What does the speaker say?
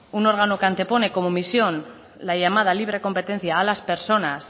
un órgano que antepone como misión la llamada libre competencia a las personas